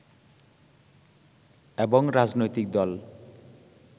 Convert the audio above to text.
এবং রাজনৈতিক দল